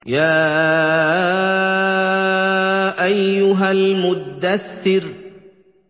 يَا أَيُّهَا الْمُدَّثِّرُ